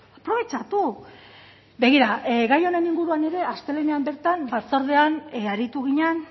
aprobetxatu begira gai honen inguruan ere astelehenean bertan batzordean aritu ginen